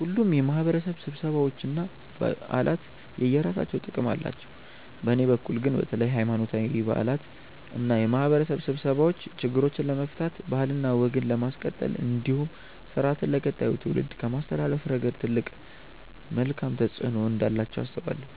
ሁሉም የማህበረሰብ ስብሰባዎች እና በዓላት የየራሳቸው ጥቅም አላቸው። በእኔ በኩል ግን በተለይ ሀይማኖታዊ በዓላት እና የማህበረሰብ ስብሰባዎች ችግሮችን ለመፍታት ባህልና ወግን ለማስቀጠል እንዲሁም ስርአትን ለቀጣዩ ትውልድ ከማስተላለፍ ረገድ ትልቅ መልካም ተፆዕኖ እንዳላቸው አስባለሁ።